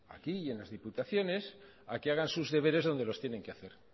aquí y en las diputaciones a que hagan sus deberes donde los tienen que hacer